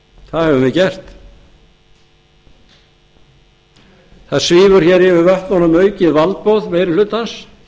það höfum við gert það svífur yfir vötnunum aukið valdboð meiri hlutans